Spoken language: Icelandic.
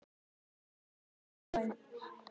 Lýður, hvernig er dagskráin?